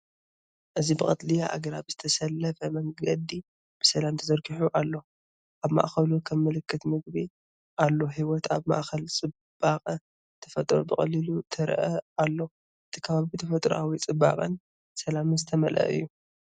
እዚ ብቀጠልያ ኣግራብ ዝተሰለፈ መንገዲ ብሰላም ተዘርጊሑ ኣሎ። ኣብ ማእከሉ ከም ምልክት ምግቢ ኣሎ። ህይወት ኣብ ማእከል ጽባቐ ተፈጥሮ ብቐሊሉ ትረአ ኣሎ። እቲ ከባቢ ብተፈጥሮኣዊ ጽባቐን ሰላምን ዝተመልአ እዩ።